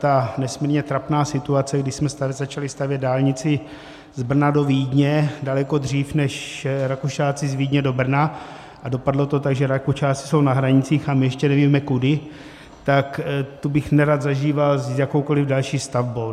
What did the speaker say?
Ta nesmírně trapná situace, kdy jsme začali stavět dálnici z Brna do Vídně daleko dřív než Rakušáci z Vídně do Brna, a dopadlo to tak, že Rakušáci jsou na hranicích a my ještě nevíme kudy, tak tu bych nerad zažíval s jakoukoliv další stavbou.